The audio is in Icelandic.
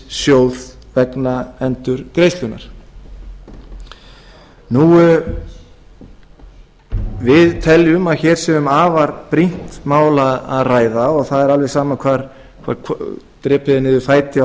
ríkissjóð vegna endurgreiðslunnar við teljum að hér sé um afar brýnt mál að ræða og það er alveg sama hvar drepið er niður fæti á